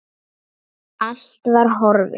Allt var horfið.